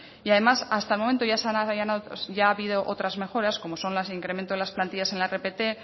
y además hasta el momento ya ha habido otras mejoras como son las de incremento de las plantillas en la rpt